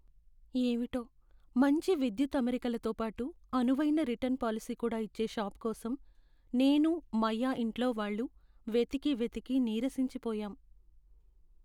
ఏవిటో! మంచి విద్యుత్ అమరికల తోపాటు అనువైన రిటర్న్ పాలసీ కూడా ఇచ్చే షాపు కోసం నేనూ మయా ఇంట్లో వాళ్ళు వెతికి వెతికి నీరసించి పోయాం.